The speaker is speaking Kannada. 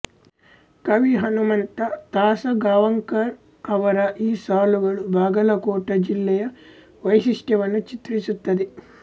ಕವಿ ಹನಮಂತ ತಾಸಗಾಂವಕರ ಅವರ ಈ ಸಾಲುಗಳು ಬಾಗಲಕೋಟ ಜಿಲ್ಲೆಯ ವೈಶಿಷ್ಟ್ಯವನ್ನು ಚಿತ್ರಿಸುತ್ತವೆ